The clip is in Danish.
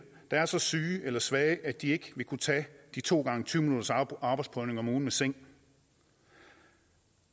der er så syge eller svage at de ikke vil kunne tage de to gange tyve minutters arbejdsprøvning om ugen med seng